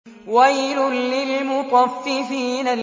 وَيْلٌ لِّلْمُطَفِّفِينَ